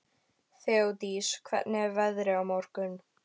Þeódís, hvernig er veðrið á morgun?